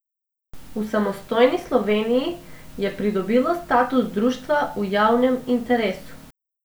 V samostojni Sloveniji je pridobilo status društva v javnem interesu.